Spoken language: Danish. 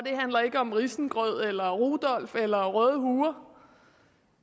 handler ikke om risengrød eller rudolf eller røde huer